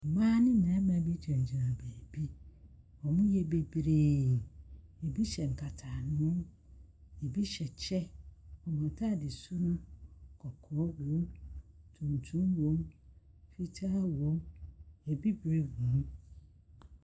Mmaa ne mmarima bi gyina gyina baabi. Ɔmo yɛ beberee. Ebi hyɛ nkata ano, ebi hyɛ kyɛ, ɔmo ataade su no, kɔkɔɔ wom, tuntum wom, fitaa wom, abibire wom.